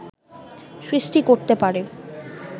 সৃষ্টি করতে পারে